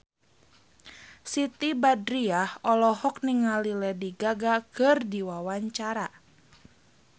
Siti Badriah olohok ningali Lady Gaga keur diwawancara